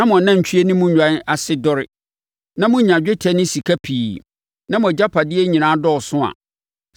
na mo anantwie ne nnwan ase dɔre, na monya dwetɛ ne sika pii, na mo agyapadeɛ nyinaa dɔɔso